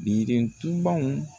Girintubaw